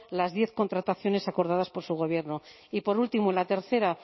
las diez contrataciones acordadas por su gobierno y por último la tercera